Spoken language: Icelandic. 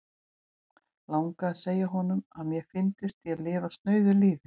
Langaði að segja honum, að mér fyndist ég lifa snauðu lífi.